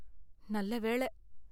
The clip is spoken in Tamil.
நல்ல வேள.